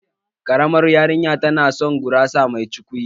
Ƙaramar yarinyar tana son gurasa mai cukwi